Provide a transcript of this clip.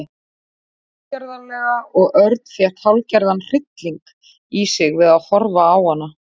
Hún hló tilgerðarlega og Örn fékk hálfgerðan hrylling í sig við að horfa á hana.